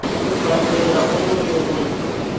u bambela onoyo o ḓo